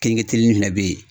fɛnɛ bɛ ye.